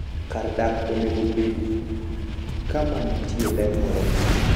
Kar dak onego obed kama nitie ler moromo.